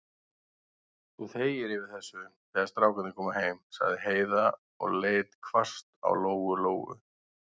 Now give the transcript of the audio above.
Þú þegir yfir þessu, þegar strákarnir koma heim, sagði Heiða og leit hvasst á Lóu-Lóu.